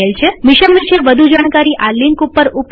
mission વિષે વધુ જાણકારી આ લિંક ઉપર ઉપલબ્ધ છે